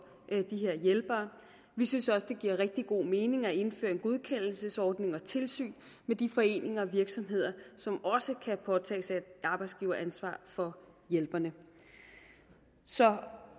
de her hjælpere vi synes også at det giver rigtig god mening at indføre en godkendelsesordning og tilsyn med de foreninger og virksomheder som også kan påtage sig et arbejdsgiveransvar for hjælperne så